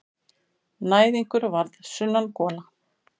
Næðingur verður sunnangola.